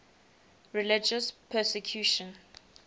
religious persecution